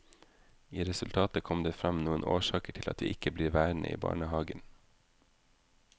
I resultatet kom det frem noen årsaker til at vi ikke blir værende i barnehagen.